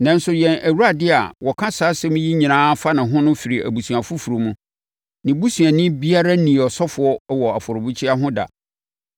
Nanso, yɛn Awurade a wɔka saa asɛm yi nyinaa fa ne ho no firi abusua foforɔ mu. Ne busuani biara nnii ɔsɔfoɔ wɔ afɔrebukyia ho da.